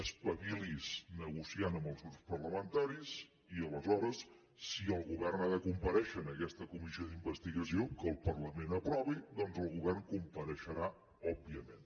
espavili’s negociant amb els grups parlamentaris i aleshores si el govern ha de comparèixer en aquesta comissió d’investigació que el parlament aprovi doncs el govern hi compareixerà òbviament